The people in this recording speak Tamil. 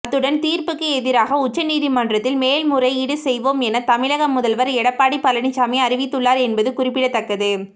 அத்துடன் தீர்ப்புக்கு எதிராக உச்ச நீதிமன்றத்தில் மேல்முறையீடு செய்வோம் என தமிழக முதல்வர் எடப்பாடி பழனிசாமி அறிவித்துள்ளார் என்பது குறிப்பிடத்தக்கது